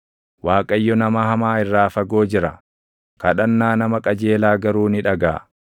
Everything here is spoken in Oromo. Waaqayyo nama hamaa irraa fagoo jira; kadhannaa nama qajeelaa garuu ni dhagaʼa.